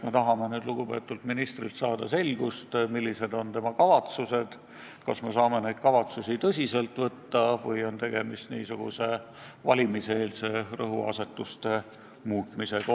Me tahame nüüd lugupeetud ministrilt saada selget vastust, millised on tema kavatsused, kas me saame neid kavatsusi tõsiselt võtta või on tegemist niisuguse valimiseelse rõhuasetuste muutmisega.